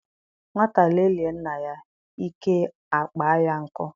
Nwata lelie nna ya, ike a kpọọ ya nkụ.